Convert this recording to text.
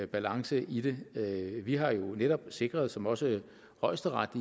balance i det vi har jo netop sikret os som også højesteret